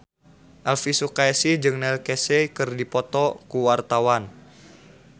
Elvy Sukaesih jeung Neil Casey keur dipoto ku wartawan